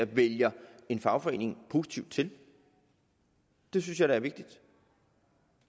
vælger en fagforening positivt til det synes jeg da er vigtigt